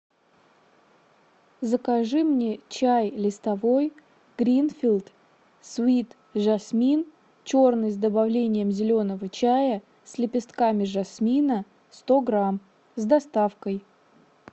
закажи мне чай листовой гринфилд свит жасмин черный с добавлением зеленого чая с лепестками жасмина сто грамм с доставкой